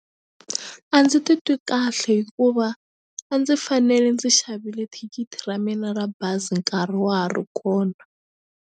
A ndzi titwi kahle hikuva a ndzi fanele ndzi xavile thikithi ra mina ra bazi nkarhi wa ha ri kona.